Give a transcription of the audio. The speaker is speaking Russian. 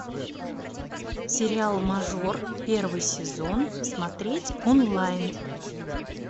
сериал мажор первый сезон смотреть онлайн